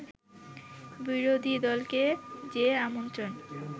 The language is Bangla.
বিরোধীদলকে যে আমন্ত্রণ